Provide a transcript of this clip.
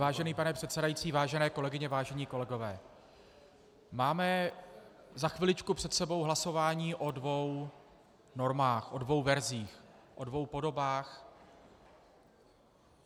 Vážený pane předsedající, vážené kolegyně, vážení kolegové, máme za chviličku před sebou hlasování o dvou normách, o dvou verzích, o dvou podobách.